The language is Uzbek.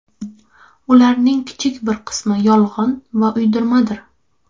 Ularning kichik bir qismi yolg‘on va uydirmadir.